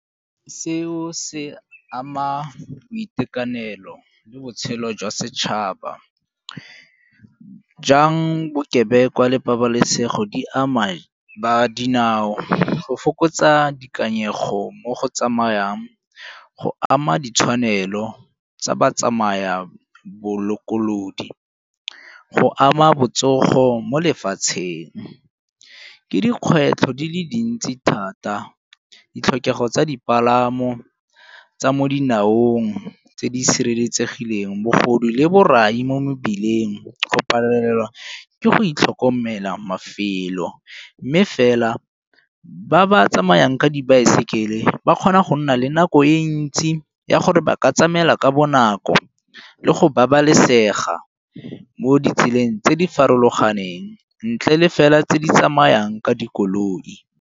Seo se ama boitekanelo le botshelo jwa setšhaba. Jang bokebekwa le pabalesego di ama ba dinao go fokotsa boikanyego mo go tsamayang, go ama ditshwanelo tsa batsamaya bolokolodi, go ama botsogo mo lefatsheng. Ke dikgwetlho di le dintsi thata ditlhokego tsa dipalamo tsa mo dinaong tse di sireletsegileng, bogodu le borai mo mebileng, go palelwa ke go itlhokomelela mafelo. Mme fela ba ba tsamayang ka dibaesekele ba kgona go nna le nako e ntsi ya gore ba ka tlamela ka bonako le go babalesega mo ditseleng tse di farologaneng ntle le fela tse di tsamayang ka dikoloi.